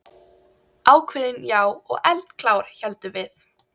Ákveðin, já, og eldklár, héldum við.